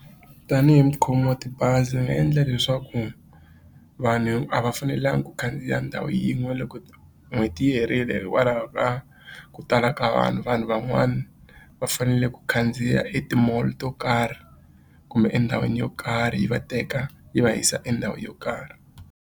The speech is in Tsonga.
Tanihi mukhomi wa tibazi ni nga endla leswaku vanhu a va fanelangi ku khandziya ndhawu yin'we loko n'hweti yi herile hikwalaho ka ku tala ka vanhu vanhu van'wana va fanele ku khandziya eti-mall to karhi kumbe endhawini yo karhi yi va teka yi va yisa endhawini yo karhi.